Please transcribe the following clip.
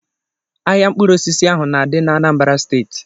Ahịa mkpụrụ osisi ahụ na dị na Anambra steeti